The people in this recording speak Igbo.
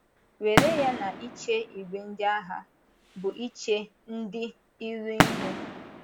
Were ya na ịche ìgwè ndị agha bụ́ iche ndị iro ihu.